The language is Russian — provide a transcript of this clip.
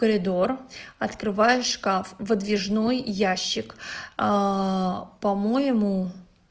коридор открывая шкаф выдвижной ящик а по-моему